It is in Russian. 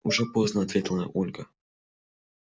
уже поздно ответила ольга